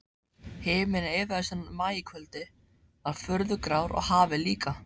Himinninn yfir þessu maíkvöldi var furðu grár og hafið líka.